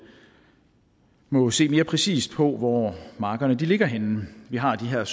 må se mere præcist på hvor markerne ligger henne vi har de her